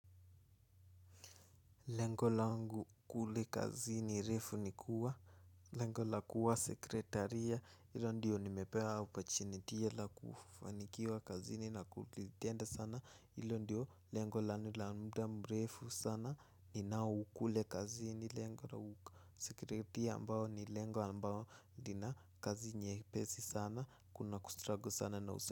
Lengo langu kule kazini refu ni kuwa lengo la kuwa sekretaria ilo ndiyo nimepewa opportunity la kufanikiwa kazi ni na kulitenda sana ilo ndiyo lengo lanu la muda mrefu sana ninao kule kazi ni lengo la sekretaria ambao ni lengo ambao lina kazi nyepesi sana kuna kustrugle sana na usa.